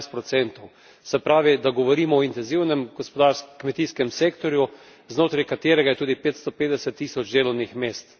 18 Se pravi, da govorimo o intenzivnem kmetijskem sektorju, znotraj katerega je tudi 550 tisoč delovnih mest.